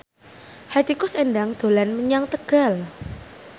Hetty Koes Endang dolan menyang Tegal